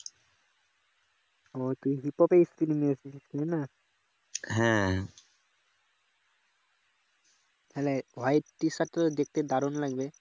তালে white t-shirt তো দেখতে দারুন লাগবে